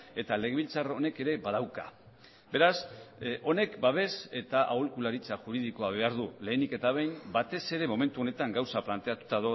eta legebiltzar honek ere badauka beraz honek babes eta aholkularitza juridikoa behar du lehenik eta behin batez ere momentu honetan gauza planteatuta